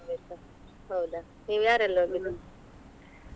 ನೀವು ಯಾರೆಲ್ಲಾ ಹೋಗಿದ್ದು?